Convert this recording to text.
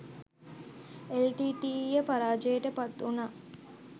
එල්.ටී.ටී.ඊ.ය පරාජයට පත්වුණා